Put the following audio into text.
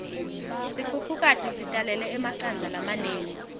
sikhukhukati sitalele emacandza lamanengi